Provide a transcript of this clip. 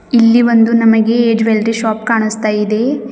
ಇಲ್ಲಿ ಒಂದು ನಮಗೆ ಜ್ಯುವೆಲ್ಲರಿ ಶಾಪ್ ಕಾಣಿಸ್ತಾ ಇದೆ.